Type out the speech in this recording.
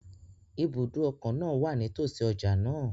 Ibùdó ọkọ̀ náà wà nítọ̀sí ọjà náà